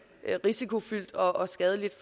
risikofyldt og skadeligt